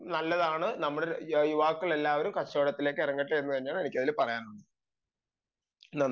നല്ലതാണ് നമ്മുടെ യുവാക്കളെല്ലാം കച്ചവടത്തിൽ ഇറങ്ങട്ടെ എന്നാണ് എനിക്ക് അതിൽ പറയാനുള്ളത് നന്ദി